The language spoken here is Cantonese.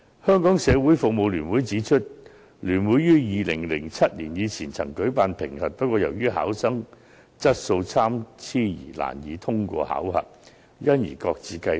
香港社會服務聯會指出，聯會於2007年以前曾舉辦評核。不過，礙於考生水平參差，難以通過考核，評核考試因而擱置。